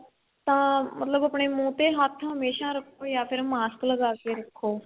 ਤਾਂ ਮਤਲਬ ਆਪਣੇ ਮੁੰਹ ਤੇ ਹੱਥ ਹਮੇਸ਼ਾ ਰੱਖੋ ਜਾ ਫ਼ਿਰ mask ਲਗਾ ਕੇ ਰੱਖੋ